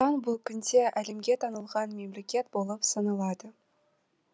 қазақстан бұл күнде әлемге танылған мемлекет болып саналады